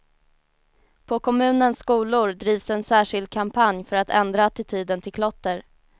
På kommunens skolor drivs en särskild kampanj för att ändra attityden till klotter.